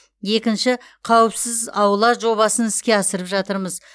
екінші қауіпсіз аула жобасын іске асырып жатырмыз